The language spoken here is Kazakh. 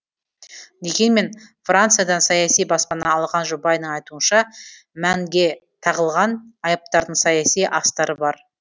дегенмен франциядан саяси баспана алған жұбайының айтуынша мэнге тағылған айыптардың саяси астары бар